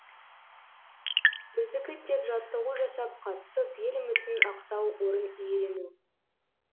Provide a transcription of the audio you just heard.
біздікі тек жаттығу жасап қатысып ел үмітін ақтау орын иелену